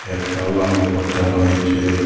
একটা লাল পদ্দা রয়েছে।